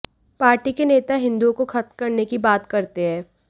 party के नेता हिंदुओं को खत्म करने की बात करते हैं